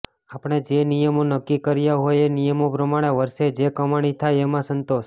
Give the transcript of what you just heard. આપણે જે નિયમો નક્કી કર્યા હોય એ નિયમો પ્રમાણે વર્ષે જે કમાણી થાય એમાં સંતોષ